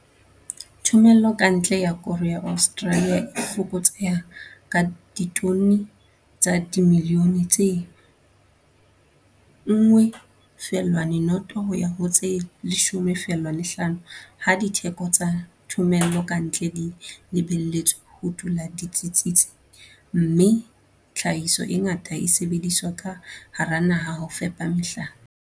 Thomello ka ntle ya koro ya Australia e fokotseha ka ditone tsa dimilione tse 1, 0 ho ya ho tse 10, 5 ha ditheko tsa thomello ka ntle di lebelletswe ho dula di tsitsitse, mme tlhahiso e ngata e sebediswa ka hara naha ho fepa mehlape.